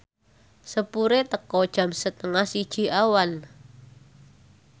sepure teka jam setengah siji awan